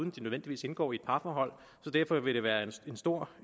at de nødvendigvis indgår i et parforhold så derfor vil det være et stort